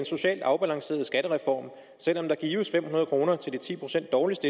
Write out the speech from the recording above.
socialt afbalanceret skattereform selv om der gives fem hundrede kroner til de ti procent dårligst